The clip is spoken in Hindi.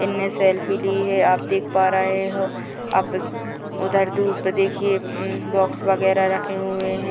इनने सेल्फी ली है आप देख पा रहे हो आप उधर दूर पे देखिये उम बॉक्स वगैरह रखे हुए हैं ।